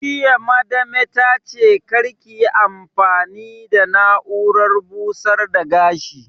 Jiya Madame ta ce 'Kar kiyi amfani da na'urar busar da gashi'!